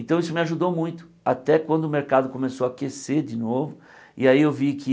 Então, isso me ajudou muito, até quando o mercado começou a aquecer de novo, e aí eu vi que